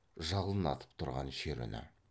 жалын атып тұрған шер үні